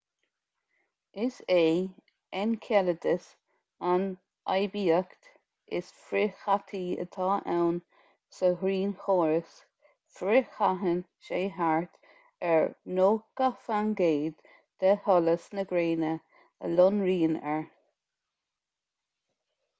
is é enceladus an oibiacht is frithchaití atá ann sa ghrianchóras frithchaitheann sé thart ar 90 faoin gcéad de sholas na gréine a lonraíonn air